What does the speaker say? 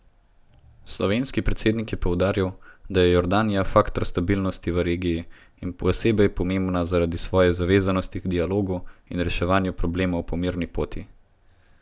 Slovenski predsednik je poudaril, da je Jordanija faktor stabilnosti v regiji in posebej pomembna zaradi svoje zavezanosti k dialogu in reševanju problemov po mirni poti.